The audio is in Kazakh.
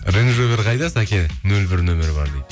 қайда сәке нөл бір нөмірі бар дейді